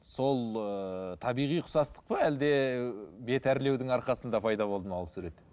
сол ыыы табиғи ұқсастық па әлде бет әрлеудің арқасында пайда болды ма ол сурет